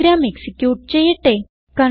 programme execute ചെയ്യട്ടെ